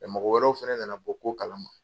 mɔgɔ wɛrɛw fɛnɛ nana bɔ ko kalama